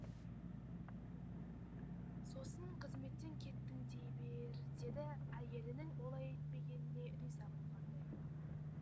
сосын қызметтен кеттің дей бер деді әйелінің олай етпегеніне риза болғандай